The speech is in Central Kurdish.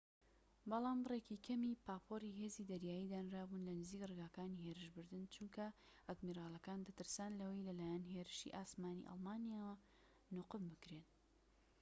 بەڵام بڕێکی کەمی پاپۆری هێزی دەریایی دانرابوون لە نزیك ڕێگەکانی هێرشبردن چونکە ئادمیرالەکان دەترسان لەوەی لەلایەن هێرشیی ئاسمانیی ئەڵمانییەوە نوقم بکرێن